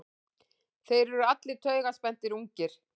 Þeir eru allir taugaspenntir, ungir.